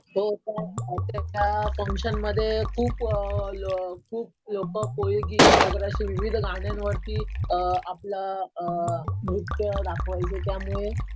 हो. अक्षरशः फ़ंक्शमध्ये खूप खूप लोकं कोळीगीत वगैरे अशा विविध गाण्यांवरती अ आपलं अ नृत्य दाखवायचे त्यामुळे.